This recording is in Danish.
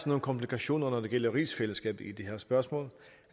nogle komplikationer når det gælder rigsfællesskabet i det her spørgsmål